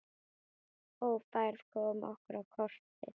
Ófærð kom okkur á kortið.